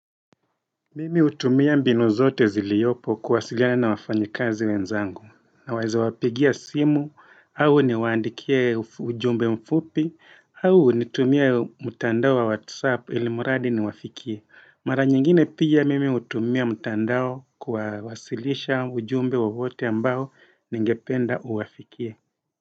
Mimi hutumia mbinu zote ziliyopo kuwasiliana na wafanyikazi wenzangu. Naweza wapigia simu, awe niwaandikie ufu ujumbe mfupi au nitumie mutandao wa whatsApp ili muradi niwafikie. Mara nyingine pia mimi hutumia mtandao kuwa wasilisha ujumbe wowote ambao, ningependa uwafikie.